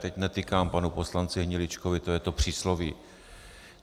Teď netykám panu poslanci Hniličkovi, to je to přísloví.